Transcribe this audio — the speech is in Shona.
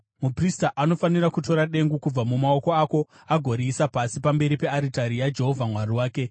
Muprista anofanira kutora dengu kubva mumaoko ako agoriisa pasi pamberi pearitari yaJehovha Mwari wake.